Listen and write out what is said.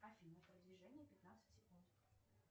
афина продвижение пятнадцать секунд